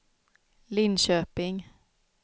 Linköping